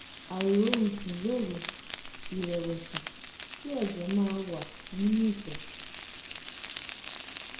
àìrórun sùn lóru ìrẹ̀wẹ̀sì kí ẹ̀jẹ̀ máa ń wà nínú ìtọ̀